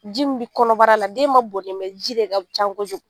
Ji min bɛ kɔnɔbara la den ma bon dɛ ji de ka ca kojugu